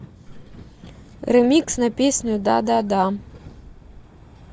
ремикс на песню да да да